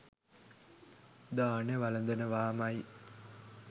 දානෙ වළඳනවාමයි